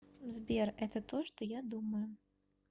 сбер это то что я думаю